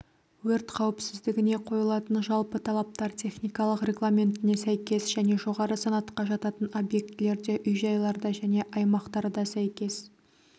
өрт қауіпсіздігіне қойылатын жалпы талаптар техникалық регламентіне сәйкес және жоғары санатқа жататын объектілерде үй-жайларда және аймақтарда сәйкес